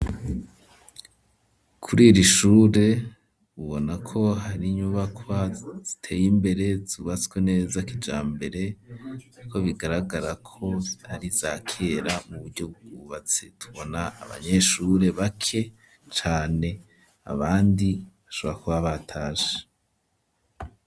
Kuri iri shure, ubona ko hari inyubakwa ziteye imbere, zubatswe neza kijambere kuko bigaragara ko ari iza kera mu buryo bw'ubwubatsi; tubona abanyeshure bake cane, abandi bashobora kuba batashe.